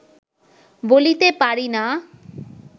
বলিতে পারি না